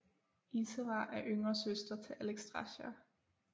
Ysera er yngre søster til Alexstrasza